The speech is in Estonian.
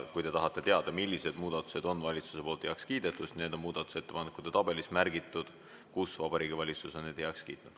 Kui te tahate teada, millised muudatused on valitsus heaks kiitnud, siis need on muudatusettepanekute tabelis märgitud, kus Vabariigi Valitsus on need heaks kiitnud.